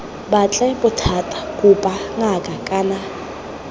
batle bothata kopa ngaka kana